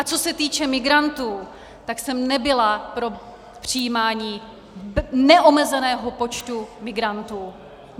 A co se týče migrantů, tak jsem nebyla pro přijímání neomezeného počtu migrantů.